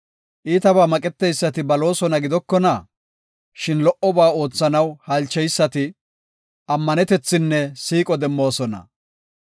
Iitabaa maqeteysati baloosona gidokona? shin lo77oba oothanaw halcheysati ammanetethinne siiqo demmoosona.